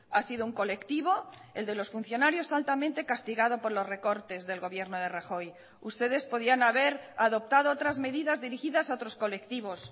ha sido un colectivo el de los funcionarios altamente castigado por los recortes del gobierno de rajoy ustedes podían haber adoptado otras medidas dirigidas a otros colectivos